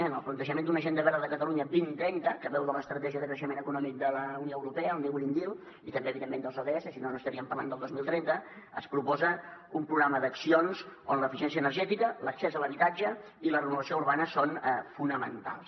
en el plantejament d’una agenda verda de catalunya dos mil trenta que beu de l’estratègia de creixement econòmic de la unió europea el new green deal i també evidentment dels ods si no no estaríem parlant del dos mil trenta es proposa un programa d’accions on l’eficiència energètica l’accés a l’habitatge i la renovació urbana són fonamentals